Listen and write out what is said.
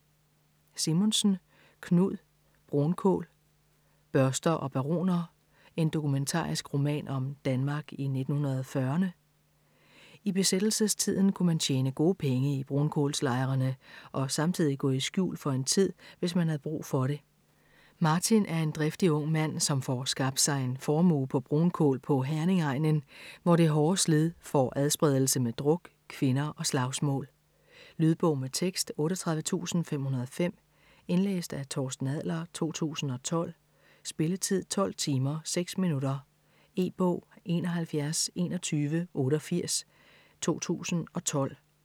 Simonsen, Knud: Brunkul: børster og baroner: en dokumentarisk roman om Danmark i 1940'erne I besættelsestiden kunne man tjene gode penge i brunkulslejerne og samtidig gå i skjul for en tid, hvis man havde brug for det. Martin er en driftig ung mand, som får skabt sig en formue på brunkul på Herningegnen, hvor det hårde slid får adspredelse med druk, kvinder og slagsmål. Lydbog med tekst 38505 Indlæst af Torsten Adler, 2012. Spilletid: 12 timer, 6 minutter. E-bog 712188 2012.